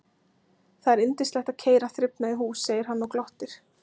Það er yndislegt að keyra þrifnað í hús, segir hann og glottir.